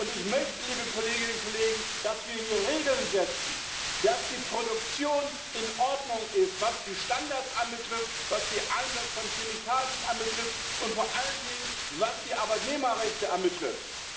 Und ich möchte, dass wir hier Regeln setzen, damit die Produktion in Ordnung ist, was die Standards anbetrifft, was den Einsatz von Chemikalien anbetrifft und vor allen Dingen, was die Arbeitnehmerrechte anbetrifft.